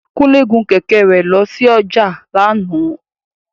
Kúnlé gun kẹ̀kẹ́ rẹ̀ lọ sí ọjà lánàá